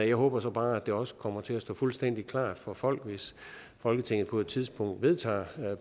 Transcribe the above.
jeg håber så bare at det også kommer til at stå fuldstændig klart for folk hvis folketinget på et tidspunkt vedtager